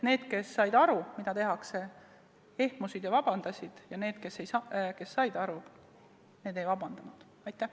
Need, kes ei olnud aru saanud, mida tehakse, ehmusid ja palusid vabandust, ja need, kes olid aru saanud, need ei palunud vabandust.